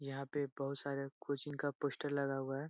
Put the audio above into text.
यहाँ पे बहुत सारे कोचिंग का पोस्टर लगा हुआ है ।